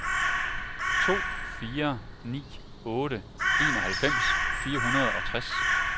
to fire ni otte enoghalvfems fire hundrede og tres